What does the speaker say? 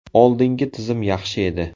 Oldingi tizim yaxshi edi.